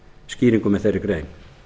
skýringum með þeirri grein